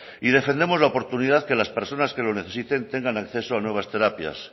y defendemos la oportunidad que las personas que lo necesiten tengan acceso a nuevas terapias